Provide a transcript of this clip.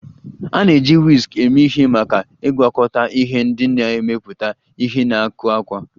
A na-eji Whisk eme ihe maka ịgwakọta ihe ndị na-emepụta ihe na ịkụ àkwá